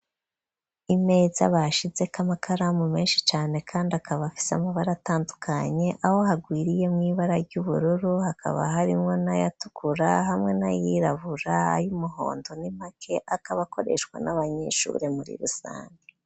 Imeza bashizeko amakaramu meshi cane kandi akaba afise amabara atandukanye aho harwiriyemwo ibara ry'ubururu hakaba harimwo n'ayatukura hamwe n'ayirabura y'umuhondo ni make akaba akoreshwa n'abanyeshure muri rusange.